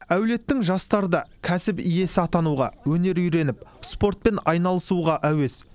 әулеттің жастары да кәсіп иесі атануға өнер үйреніп спортпен айналысуға әуес